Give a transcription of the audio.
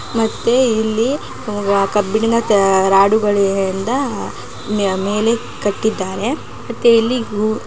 ಮತ್ತೆ ಇಲ್ಲಿ ಕಬ್ಬಿಣದ ರಾಡು ಗಳಿಂದ ಮೇಲೆ ಕಟ್ಟಿದ್ದಾರೆ. ಮತ್ತೆ ಇಲ್ಲಿ--